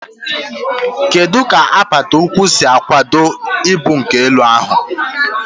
Kedu ka apata ụkwụ si akwado ibu nke elu ahụ?